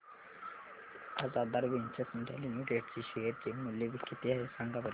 आज Aadhaar ventures India limited चे share चे मूल्य किती आहे सांगा बरं